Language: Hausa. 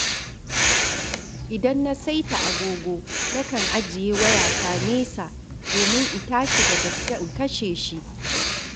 Idan na saita agogo, nakan ajiye wayata nesa domin in tashi da gaske in kashe shi.